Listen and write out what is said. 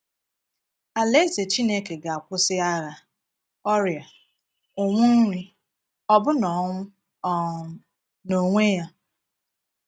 Alaeze Chineke ga-akwụsị agha, ọrịa, ụnwụ nri—ọbụna ọnwụ um n’onwe ya.